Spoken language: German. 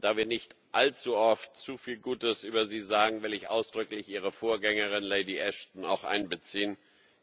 Da wir nicht allzu oft zu viel Gutes über sie sagen, will ich ausdrücklich Ihre Vorgängerin, Lady Ashton, auch einbeziehen,